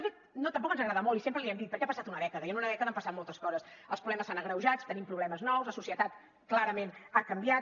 de fet tampoc ens agrada molt i sempre l’hi hem dit perquè ha passat una dècada i en una dècada han passat moltes coses els problemes s’han agreujat tenim problemes nous la societat clarament ha canviat